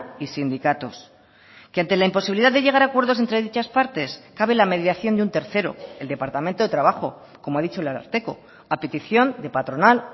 y sindicatos que ante la imposibilidad de llegar a acuerdos entre dichas partes cabe la mediación de un tercero el departamento de trabajo como ha dicho el ararteko a petición de patronal